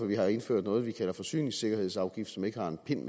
vi har indført noget vi kalder forsyningssikkerhedsafgift som ikke har en pind